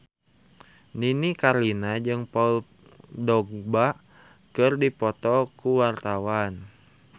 Nini Carlina jeung Paul Dogba keur dipoto ku wartawan